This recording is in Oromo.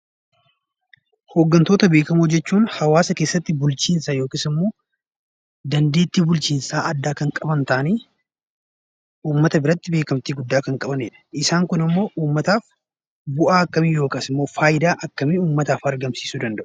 Hoggantoota beekamoo jechuun hawaasa keessatti bulchiinsa yookiis immoo dandeettii bulchiinsaa addaa kan qaban ta'anii, uummata biratti beekamtii guddaa kan qabanidha. Isaan kunimmoo uummataaf bu'aa akkamii yookaas immoo faayidaa akkamii uummataaf argamsiisuu danda'u?